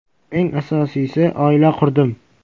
Eng asosiysi, oila qurdim.